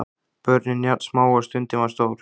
Börnin jafn smá og stundin var stór.